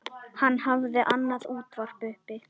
Hann hafði annað útvarp uppi.